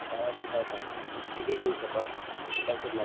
ಬಾಳ ದಿವ್ಸ ಆಯ್ತಮ್ಮ busy ಇದ್ವಿ ಸ್ವಲ್ಪ ಕೆಲಸದ ಮೇಲೆ.